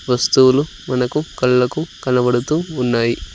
వస్తువులు మనకు కళ్ళకు కనబడుతూ ఉన్నాయి.